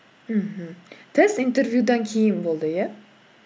мхм тест интервьюдан кейін болды иә